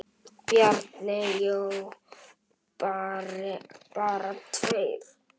Bjarni Jó: Bara tveir?!